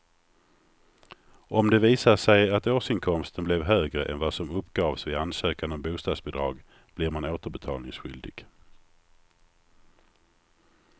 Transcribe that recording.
Om det visar sig att årsinkomsten blev högre än vad som uppgavs vid ansökan om bostadsbidrag blir man återbetalningsskyldig.